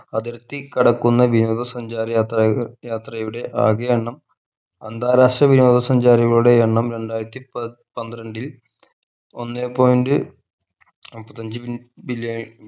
അതിർത്തി കടക്കുന്ന വിനോദ സഞ്ചാര യാത്ര യാത്രയുടെ ആകെ എണ്ണം അന്താരാഷ്ട്ര വിനോദ സഞ്ചാരികളുടെ എണ്ണം രണ്ടായിരത്തി പ പന്ത്രണ്ടിൽ ഒന്നേ point മുപ്പത്തഞ്ച്‌ b billion